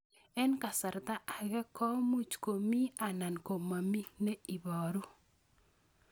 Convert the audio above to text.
Eng' kasarta ag'e ko much ko mii anan komamii ne ibaru